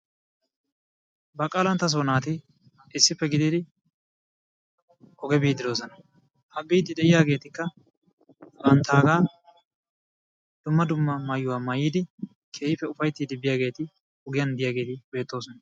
Baqalantassoo naati issippe gididi kare biidi doososna. Ha biidi de'iyaageetakka banttaagaa dumma dumma maayuwa maayidi keehippe ufaytiidi biyagaeeti ogiyan biyaageeti beettoosona.